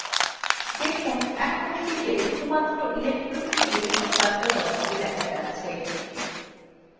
দেখুন এখন sheetএ শুধুমাত্র electricity bill সংক্রান্ত তথ্যই data যাচ্ছে